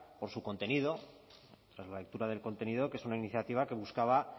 por su contenido tras la lectura del contenido que es una iniciativa que buscaba